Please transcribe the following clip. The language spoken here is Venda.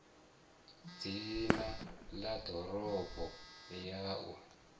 dzina na ṋomboro ya u